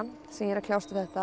sem ég er að kljást við þetta